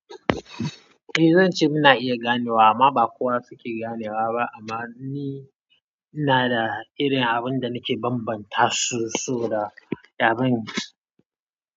Eh zan ce muna iya ganewa amma ba kowa suke ganewa ba amma ni ina da irin abun da nake bambanta su, su da yaren.